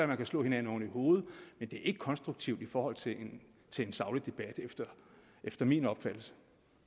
man kan slå hinanden oven i hovedet men det er ikke konstruktivt i forhold til til en saglig debat efter min opfattelse